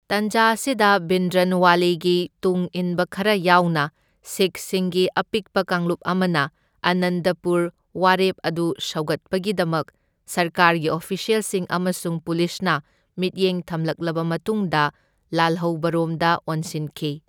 ꯇꯥꯟꯖꯥ ꯑꯁꯤꯗ ꯚꯤꯟꯗ꯭ꯔꯟꯋꯥꯂꯦꯒꯤ ꯇꯨꯡꯏꯟꯕ ꯈꯔ ꯌꯥꯎꯅ ꯁꯤꯈꯁꯤꯡꯒꯤ ꯑꯄꯤꯛꯄ ꯀꯥꯡꯂꯨꯞ ꯑꯃꯅ ꯑꯥꯅꯟꯗꯄꯨꯔ ꯋꯥꯔꯦꯞ ꯑꯗꯨ ꯁꯧꯒꯠꯄꯒꯤꯗꯃꯛ ꯁꯔꯀꯥꯔꯒꯤ ꯑꯣꯐꯤꯁ꯭ꯌꯦꯜꯁꯤꯡ ꯑꯃꯁꯨꯡ ꯄꯨꯂꯤꯁꯅ ꯃꯤꯠꯌꯦꯡ ꯊꯝꯂꯛꯂꯕ ꯃꯇꯨꯡꯗ ꯂꯥꯟꯍꯧꯕꯔꯣꯝꯗ ꯑꯣꯟꯁꯤꯟꯈꯤ꯫